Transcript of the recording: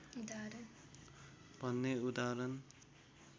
भन्ने उदाहरण